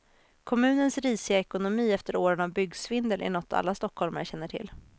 Kommunens risiga ekonomi efter åren av byggsvindel är något alla stockholmare känner till.